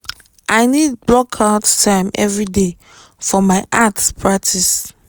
i need block out time every day for my art practice